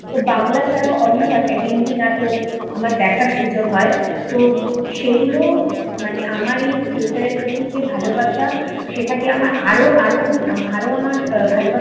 তো বাংলা ছাড়াও অন্য ভাষায় হিন্দি নাটক আমার দেখার সুযোগ হয় তো সেগুলো মানে আমার এই থিয়েটারের প্রতি যেই ভালোবাসা সেটাকে আমায় আরো আরো আরো আমার ভালোবাসা